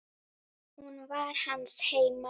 Hún var hans heima.